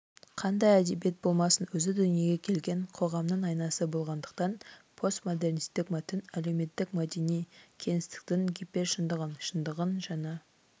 қандай әдебиет болмасын өзі дүниеге келген қоғамның айнасы болғандықтан постмодернистік мәтін әлеуметтік-мәдени кеңістіктің гипершындығын шындығын жаңа